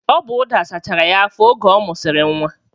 Ọ bu ụda sachara ya afọ oge ọ musiri nwa